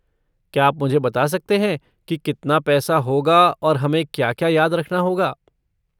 क्या आप मुझे बता सकते हैं कि कितना पैसा होगा और हमें क्या क्या याद रखना होगा?